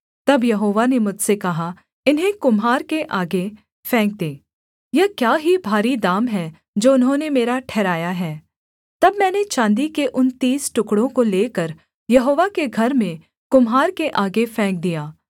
तब यहोवा ने मुझसे कहा इन्हें कुम्हार के आगे फेंक दे यह क्या ही भारी दाम है जो उन्होंने मेरा ठहराया है तब मैंने चाँदी के उन तीस टुकड़ों को लेकर यहोवा के घर में कुम्हार के आगे फेंक दिया